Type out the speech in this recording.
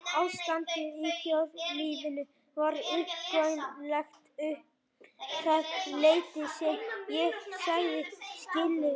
Ástandið í þjóðlífinu var uggvænlegt um það leyti sem ég sagði skilið við